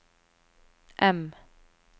M